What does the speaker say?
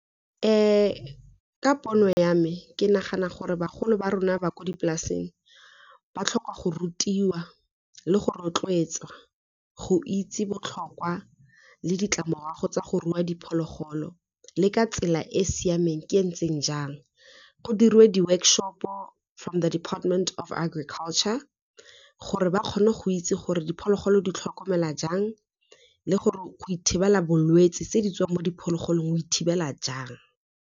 Ka pono ya me ke nagana gore bagolo ba rona ba ko dipolaseng ba tlhoka go rutiwa le go rotloetsa, go itse botlhokwa le ditlamorago tsa go rua diphologolo le ka tsela e e siameng ke ntseng jang. Go diriwe di-workshop-o from the department of agriculture, gore ba kgone go itse gore diphologolo di tlhokomela jang le gore go ithibela bolwetse tse di tswang mo diphologolong o e thibela jang.